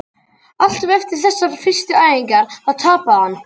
Alltaf eftir þessar fyrstu æfingar, þá tapaði hann!